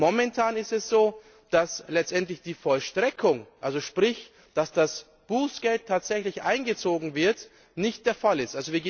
Momentan ist es so, dass letztendlich die Vollstreckung sprich, dass das Bußgeld tatsächlich eingezogen wird nicht der Fall ist.